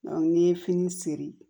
n'i ye fini seri